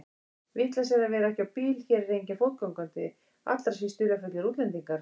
Vitleysa að vera ekki á bíl, hér er enginn fótgangandi, allra síst dularfullir útlendingar.